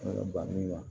Ala bangenaa